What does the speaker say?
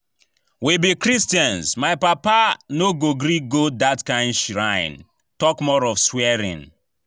We be christians, my papa no go gree go dat shrine talk more of swearing